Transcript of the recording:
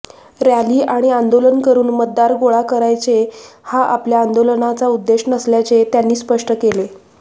rally आणि आंदोलन करून मतदार गोळा करायचे हा आपल्या आंदोलनाचा उद्देश नसल्याचे त्यांनी स्पष्ट केले